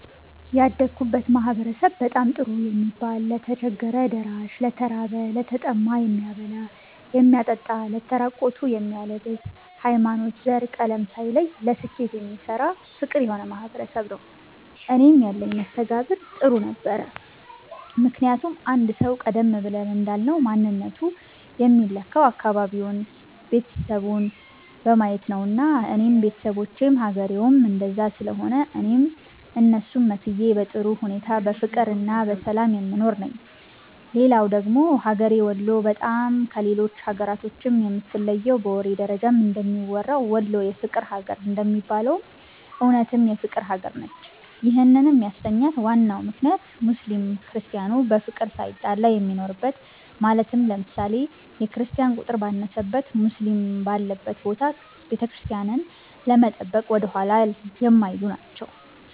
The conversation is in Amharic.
ያደግሁበት ማህበረሰብ በጣም ጥሩ የሚባል ለተቸገረ ደራሽ፣ ለተራበ፣ ለተጠማ የሚያበላ የሚያጠጣ ለተራቆቱ የሚያለብስ፣ ሀይማኖት፣ ዘር፣ ቀለም ሳይለይ ለስኬት የሚሰራ ፍቅር የሆነ ማህበረሰብ ነዉ። እኔም ያለኝ መስተጋብር ጥሩ ነበረ ምክንያቱም አንድ ሰዉ ቀደም ብለን እንዳልነዉ ማንነቱ የሚለካዉ አካባቢዉን፣ ቤተሰቡን በማየት ነዉና እኔም ቤተሰቦቼም ሀገሬዉም እንደዛ ስለሆነ እኔም እነሱን መስዬ በጥሩ ሁኔታ በፍቅርና በሰላም የምኖር ነኝ። ሌላዉ ደግሞ ሀገሬ ወሎ በጣም ከሌሎች ሀገራቶችም የምትለየዉ በወሬ ደረጃም እንደሚወራዉ "ወሎ የፍቅር ሀገር" እንደሚባለዉም እዉነትም የፍቅር ሀገር ነች ይህንም ያሰኛት ዋናው ምክንያት ሙስሊም ክርስቲያኑ በፍቅር ሳይጣላ የሚኖርበት ማለትም ለምሳሌ፦ የክርስቲያን ቁጥር ባነሰበት ሙስሊም ባለበት ቦታ ቤተክርስቲያንን ለመጠበቅ ወደኋላ የማይሉ ናቸዉ።